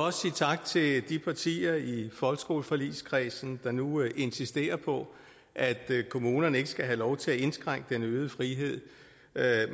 også sige tak til de partier i folkeskoleforligskredsen der nu insisterer på at kommunerne ikke skal have lov til at indskrænke den øgede frihed